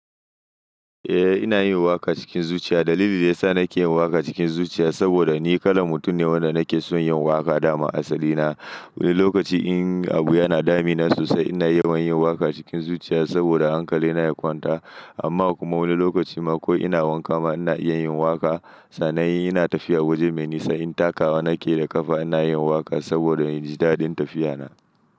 Eh ina yin waƙa cikin zuciya. Dalilin da ya sa nake yin waƙa cikin zuciya saboda ni kalan mutum ne wanda nake son yin waƙa dama asali na. Wani lokaci in abu yana damina sosai ina yawan yin waƙa cikin zuciya saboda hankali na ya kwanta amma kuma wani lokaci ma ko ina wanka ma ina iya yin waƙa. Sannan inna tafiya waje mai nisa in takawa nake da ƙafa ina yin waƙa saboda in ji daɗin tafiya na.